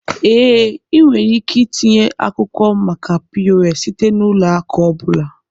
Ee, ị nwere ike itinye akwụkwọ maka POS site na ụlọ akụ ọ bụla.